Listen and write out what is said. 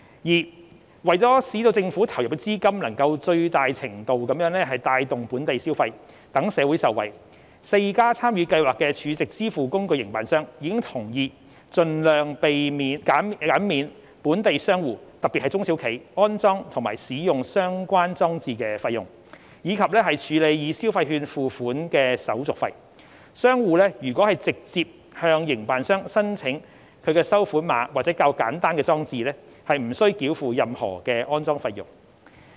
二為使政府投入的資金能最大程度帶動本地消費，讓社會受惠 ，4 家參與計劃的儲值支付工具營辦商已同意盡量減免本地商戶)安裝及使用相關裝置的費用，以及處理以消費券付款的手續費。商戶如直接向營辦商申請其收款碼或較簡單的裝置，不需繳付任何安裝費用。